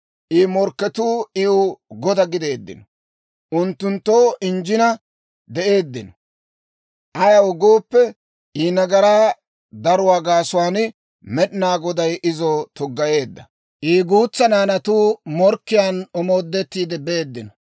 I morkketuu iw goda gideeddino; unttunttoo injjina de'eeddino. Ayaw gooppe, I nagaraa daruwaa gaasuwaan Med'inaa Goday izo tuggayeedda; I guutsa naanatuu morkkiyaan omoodettiide beeddino.